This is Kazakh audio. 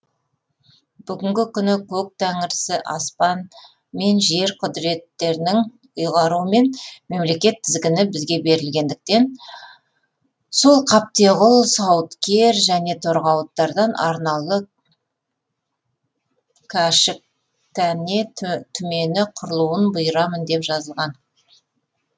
бүгінгі күні көк тәңірісі аспан мен жер құдіреттерінің ұйғаруымен мемлекет тізгіні бізге берілгендіктен сол қаптеғұл сауыткер және торғауыттардан арнаулы кәшіктәне түмені құрылуын бұйырамын деп жазылған